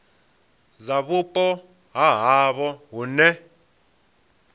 dza vhupo ha havho hune